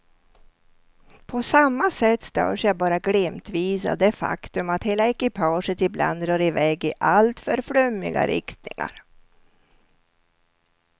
På samma sätt störs jag bara glimtvis av det faktum att hela ekipaget ibland drar i väg i alltför flummiga riktningar.